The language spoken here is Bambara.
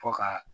Fo ka